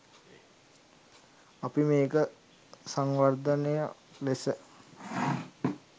අපි මේක සංවර්ධනයක් ලෙස